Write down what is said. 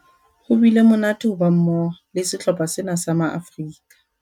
Ho bile monate ho ba mmoho le sehlopha sena sa Maafrika